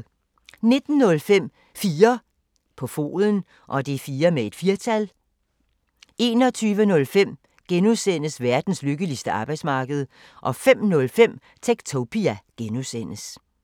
19:05: 4 på foden 21:05: Verdens lykkeligste arbejdsmarked (G) 05:05: Techtopia (G)